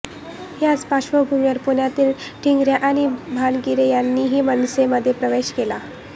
याच पार्श्वभूमीवर पुण्यातील टिंगरे आणि भानगिरे यांनीही मनसेमध्ये प्रवेश केला